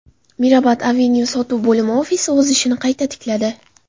Mirabad Avenue: Sotuv bo‘limi ofisi o‘z ishini qayta tikladi.